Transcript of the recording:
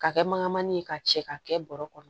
K'a kɛ mankan mani ye ka cɛ ka kɛ bɔrɔ kɔnɔ